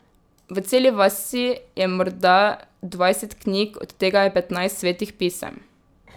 V celi vasi je morda dvajset knjig, od tega je petnajst svetih pisem.